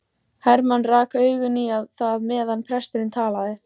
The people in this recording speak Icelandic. Hermann rak augun í það meðan presturinn talaði.